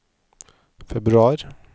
februar